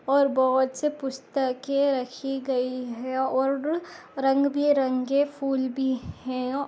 और बहुत से पुस्तके रखी गई है और रंग बेरंगे फूल भी है।